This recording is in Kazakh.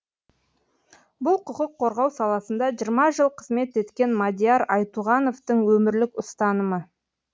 бұл құқық қорғау саласында жиырма жыл қызмет еткен мадияр айтуғановтың өмірлік ұстанымы